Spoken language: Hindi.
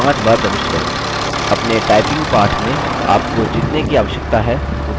अपने typing पाठ में आप को जितने की आवश्यकता है उतने levels बना सकते हैं